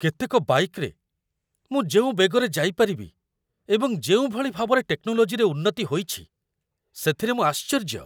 କେତେକ ବାଇକ୍‌ରେ ମୁଁ ଯେଉଁ ବେଗରେ ଯାଇପାରିବି ଏବଂ ଯେଉଁଭଳି ଭାବରେ ଟେକ୍ନୋଲୋଜିରେ ଉନ୍ନତି ହୋଇଛି, ସେଥିରେ ମୁଁ ଆଶ୍ଚର୍ଯ୍ୟ ।